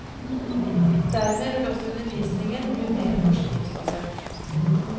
Dermed vil også undervisningen bli mer forskningsbasert.